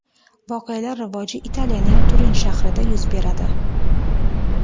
Voqealar rivoji Italiyaning Turin shahrida yuz beradi.